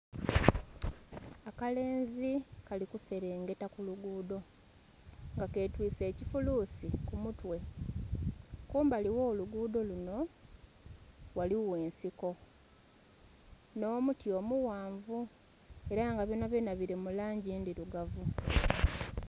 Akalenzi kalikuselengeta kulugudho nga katwise ekifulusi kumutwe kumbali ogholugudho lunho ghaligho ensiko nh'omuti omughanvu era nga byona byona bili mulangi ndhilugavu.